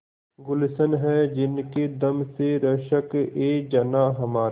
गुल्शन है जिनके दम से रश्कएजनाँ हमारा